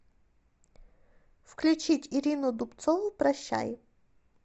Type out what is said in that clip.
включить ирину дубцову прощай